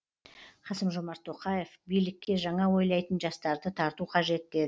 қасым жомарт тоқаев билікке жаңа ойлайтын жастарды тарту қажет деді